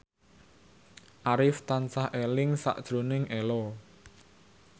Arif tansah eling sakjroning Ello